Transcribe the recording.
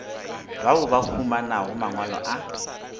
bao ba humanago mangwalo a